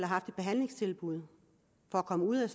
haft et behandlingstilbud for at komme ud af